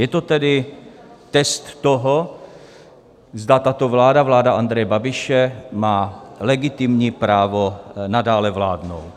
Je to tedy test toho, zda tato vláda, vláda Andreje Babiše, má legitimní právo nadále vládnout.